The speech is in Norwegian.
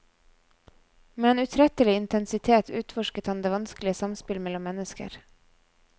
Med en utrettelig intensitet utforsket han det vanskelige samspill mellom mennesker.